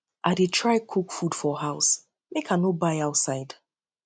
i dey try cook food for house make i no buy outside